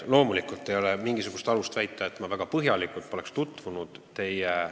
Loomulikult ei ole mingisugust alust väita, et ma ei ole teie väite sisuga põhjalikult tutvunud.